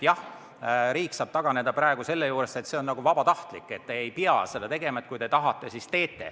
Jah, riik saab praegu sellest kohustusest taganedes öelda, et see on vabatahtlik, et ei pea seda tegema – kui te tahate, siis teete.